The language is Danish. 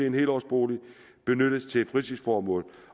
en helårsbolig benyttes til fritidsformål